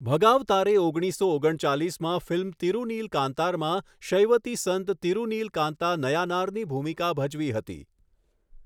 ભગાવતારે ઓણગીસો ઓગણચાલીસમાં ફિલ્મ 'તિરૂનીલકાંતાર'માં શૈવતી સંત તિરૂનીલકાંતા નયાનારની ભૂમિકા ભજવી હતી.